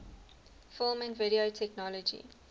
film and video technology